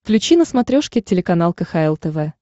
включи на смотрешке телеканал кхл тв